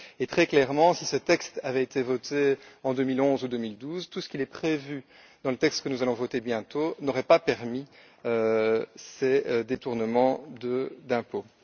Et très clairement, si ce texte avait été voté en 2011 ou 2012, tout ce qui est prévu dans le texte que nous allons voter bientôt n'aurait pas permis ces détournements d'impôts.